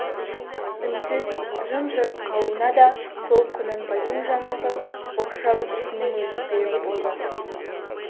үнсіз жым-жырт қалуына да сол құнанбайдың жаңағы оқшау ісінің өзі себеп болды